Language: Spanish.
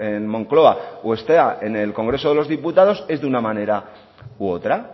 en moncloa o está en el congreso de los diputados es de una manera u otra